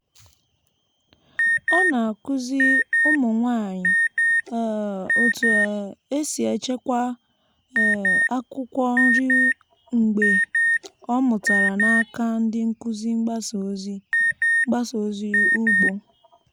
ọ na-akụzi ụmụ nwanyị um otu um esi echekwa um akwụkwọ nri mgbe ọ mụtara n'aka ndị nkuzi mgbasa ozi mgbasa ozi ugbo.